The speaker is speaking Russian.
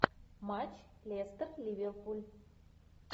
матч лестер ливерпуль